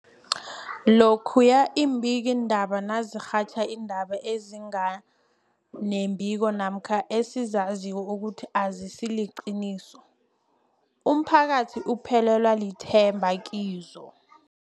Lokhuya iimbikiindaba nazirhatjha iindaba ezinga nembiko namkha ezizaziko ukuthi azisiliqiniso, umphakathi uphelelwa lithemba kizo.